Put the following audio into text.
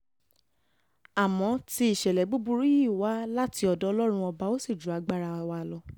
àmọ́ tí ìṣẹ̀lẹ̀ búburú yìí wá láti ọ̀dọ̀ ọlọ́run ọba ò sì ju agbára tiwa lọ